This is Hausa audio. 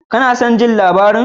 Ka na son jin labarin?